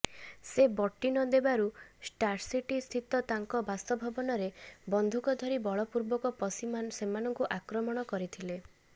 ସେ ବଟି ନଦେବାରୁ ଷ୍ଟାର୍ସିଟିସ୍ଥିତ ତାଙ୍କ ବାସଭବନରେ ବନ୍ଧୁକ ଧରି ବଳପୂର୍ବକ ପଶି ସେମାନଙ୍କୁ ଆକ୍ରମଣ କରିଥିଲେ